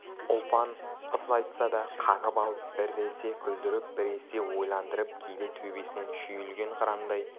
ұлпан ыс айтса да қағып алып біресе күлдіріп біресе ойландырып кейде төбесінен шүйілген қырандай